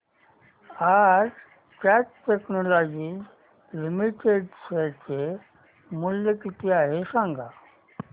आज Cat technologies limited चे share चे मूल्य किती आहे सांगा